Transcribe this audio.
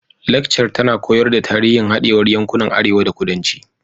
Lakcar tana koyar da tarihin hadewar yankunan arewa da kudanci